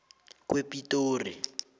kwepitori